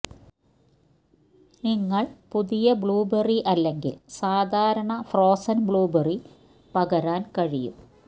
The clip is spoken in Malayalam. നിങ്ങൾ പുതിയ ബ്ലൂബെറി അല്ലെങ്കിൽ സാധാരണ ഫ്രോസൻ ബ്ലൂബെറി പകരാൻ കഴിയും